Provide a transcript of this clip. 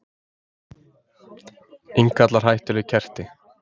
Innkallar hættuleg kerti